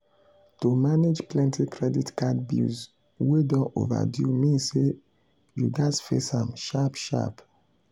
to manage plenty credit card bills wey don overdue mean say you gats face am sharp sharp.